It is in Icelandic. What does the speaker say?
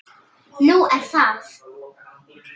Nú er það?